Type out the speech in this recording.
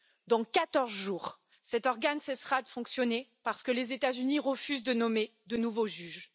Dans quatorze jours, cet organe cessera de fonctionner parce que les États Unis refusent de nommer de nouveaux juges.